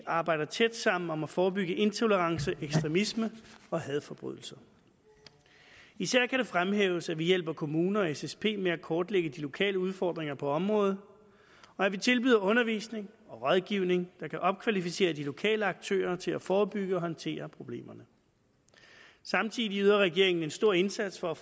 arbejder tæt sammen om at forebygge intolerance ekstremisme og hadforbrydelser især kan fremhæves at vi hjælper kommuner og ssp med at kortlægge de lokale udfordringer på området og at vi tilbyder undervisning og rådgivning der kan opkvalificere de lokale aktører til at forebygge og håndtere problemerne samtidig yder regeringen en stor indsats for at